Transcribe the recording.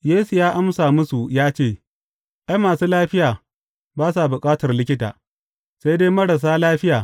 Yesu ya amsa musu ya ce, Ai, masu lafiya ba sa bukatar likita, sai dai marasa lafiya.